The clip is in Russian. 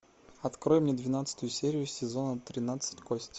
открой мне двенадцатую серию сезона тринадцать кости